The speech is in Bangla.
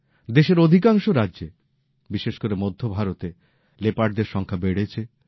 দেশের অধিকাংশ রাজ্যে বিশেষ করে মধ্যভরতে লেপার্ডদের সংখ্যা বেড়েছে